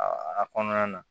A kɔnɔna na